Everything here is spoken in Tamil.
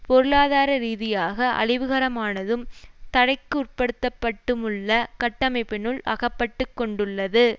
பொருளாதாரரீதியாக அழிவுகரமானதும் தடைக்குட்படுத்தப்பட்டுமுள்ள கட்டமைப்பினுள் அகப்பட்டுக்கொண்டுள்ளது